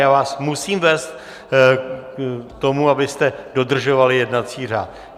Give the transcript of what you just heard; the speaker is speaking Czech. Já vás musím vést k tomu, abyste dodržovali jednací řád.